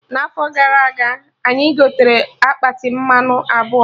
Na afọ gara aga, anyị gotere akpati mmanụ abụọ